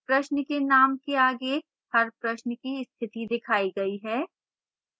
प्रश्न के name के आगे हर प्रश्न की स्थिति दिखाई गई है